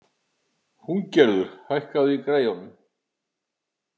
Húngerður, hækkaðu í græjunum.